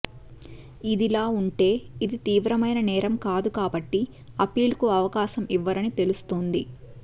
ఇదిలాఉంటే ఇది తీవ్రమైన నేరం కాదు కాబట్టి అప్పీల్ కి అవకాశం ఇవ్వరని తెలుస్తోంది